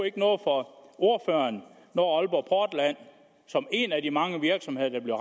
ikke noget for ordføreren når aalborg portland som en af de mange virksomheder der bliver